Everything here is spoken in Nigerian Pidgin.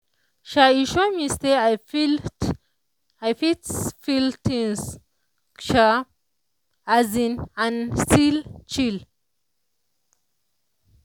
[sha] e sure me say i i fits feel things [sha] as in and still chill.